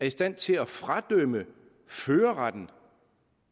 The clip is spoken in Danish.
i stand til at fradømme førerretten